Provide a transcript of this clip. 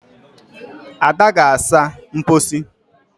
Ada gaa saa mposi.